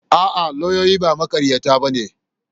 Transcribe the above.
A'a, lauyoyi ba maƙaryata ba ne.